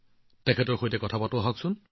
তেওঁৰ পৰা শুনো আহক